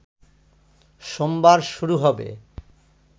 সোমবার শুরু হবে